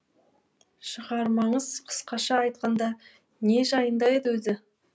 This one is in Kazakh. шығармаңыз қысқаша айтқанда не жайында еді өзі